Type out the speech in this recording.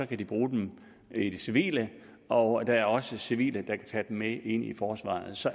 kan de bruge dem i det civile og der er også civile der kan tage dem med ind i forsvaret så